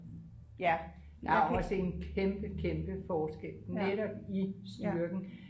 ja der er jo også en kæmpe kæmpe forskel netop i styrken